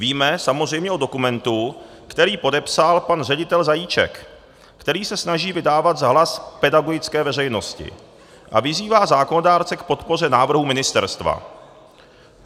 Víme samozřejmě o dokumentu, který podepsal pan ředitel Zajíček, který se snaží vydávat za hlas pedagogické veřejnosti a vyzývá zákonodárce k podpoře návrhů ministerstva.